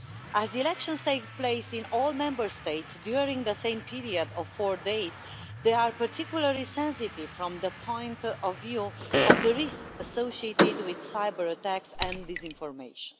As elections take place in all Member States during the same period of four days, they are particularly sensitive from the point of view of the risk associated with cyber-attacks and disinformation.